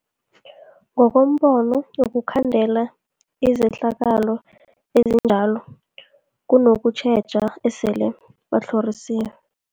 Ngokombono wokhandela izehlakalo ezinjalo kunokutjheja esele batlhorisiwe.